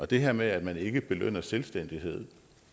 det her med at man ikke belønner selvstændighed